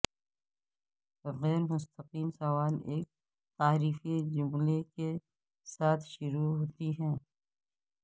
غیر مستقیم سوال ایک تعارفی جملے کے ساتھ شروع ہوتی ہے